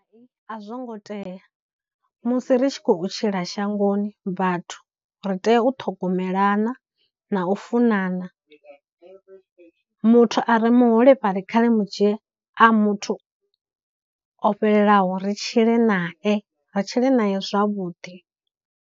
A zwongo tea musi ri tshi khou tshila shangoni vhathu ri tea u ṱhogomelana na u funana, muthu a re muholefhali kha ri mu dzhie a muthu o fhelelaho ri tshile nae, ri tshile naye zwavhuḓi.